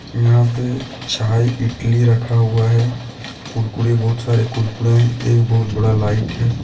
यहां पे चाय इटली रखा हुआ है कुरकुरे बहुत सारे कुरकुरे एक बहोत बड़ा लाईट है।